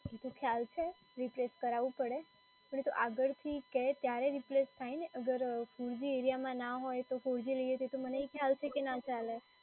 એ તો ખ્યાલ છે replace કરાવું પડે, પરંતુ આગળથી કે ત્યારે replace થાય ને. અગર three g એરિયામાં ના હોય તો four g લઈએ તો એ તો મને ખ્યાલ છે કે નાં ચાલે.